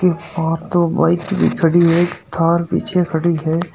और दो बाइक भी खड़ी है एक थार पीछे खड़ी है।